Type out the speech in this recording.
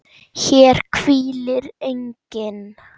HÉR HVÍLIR ENGINN